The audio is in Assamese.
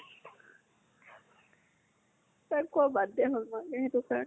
তাক কোৱা বাদ দিয়া হল মা সেইটো কাৰণে।